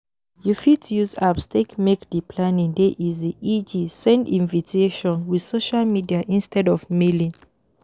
You fit use apps take make di planning dey easy eg send invitiation with social media instead of Mailing